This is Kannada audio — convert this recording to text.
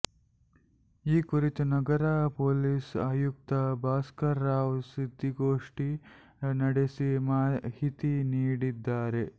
ಈ ಕುರಿತು ನಗರ ಪೊಲೀಸ್ ಆಯುಕ್ತ ಭಾಸ್ಕರ್ ರಾವ್ ಸುದ್ದಿಗೋಷ್ಠಿ ನಡೆಸಿ ಮಾಹಿತಿ ನೀಡಿದ್ದಾರೆ